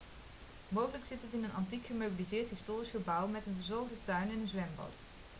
mogelijk zit het in een antiek gemeubileerd historisch gebouw met een verzorgde tuin en een zwembad